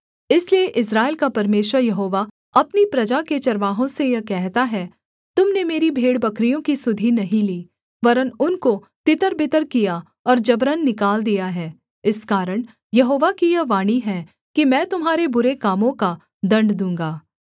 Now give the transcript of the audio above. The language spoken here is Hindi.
इसलिए इस्राएल का परमेश्वर यहोवा अपनी प्रजा के चरवाहों से यह कहता है तुम ने मेरी भेड़बकरियों की सुधि नहीं ली वरन् उनको तितरबितर किया और जबरन निकाल दिया है इस कारण यहोवा की यह वाणी है कि मैं तुम्हारे बुरे कामों का दण्ड दूँगा